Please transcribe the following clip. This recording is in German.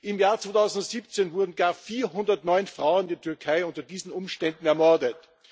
Im Jahr 2017 wurden gar 409 Frauen in der Türkei unter diesen Umständen ermordet.